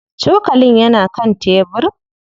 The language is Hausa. Cokalin yana kan tebir.